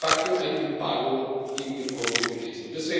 Das ist de facto ein Embargo gegen den Kongo gewesen.